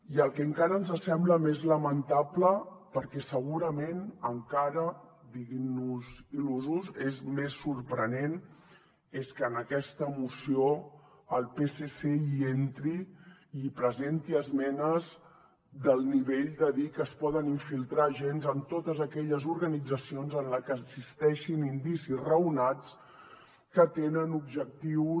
i el que encara ens sembla més lamentable perquè segurament encara diguin nos il·lusos és més sorprenent és que en aquesta moció el psc hi entri i presenti esmenes del nivell de dir que es poden infiltrar agents en totes aquelles organitzacions en les que existeixin indicis raonats que tenen objectius